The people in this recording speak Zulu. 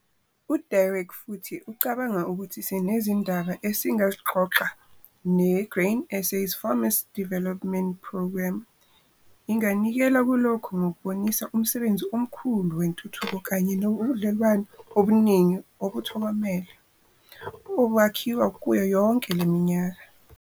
U-Derek futhi ucabanga ukuthi sinezindaba eziningi esingazixoxa ne-Grain SA's Farmers Development Programme inganikela kulokhu ngokubonisa umsebenzi omkhulu wentuthuko kanye nombudlelwano obuningi ubuthokomele obakhiwa kuyo yonke le minyaka.